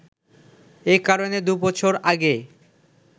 এ কারণে দু’বছর আগে